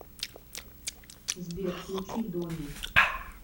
сбер включи дони